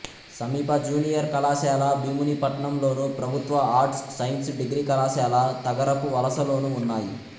సమీప జూనియర్ కళాశాల భీమునిపట్నంలోను ప్రభుత్వ ఆర్ట్స్ సైన్స్ డిగ్రీ కళాశాల తగరపువలసలోనూ ఉన్నాయి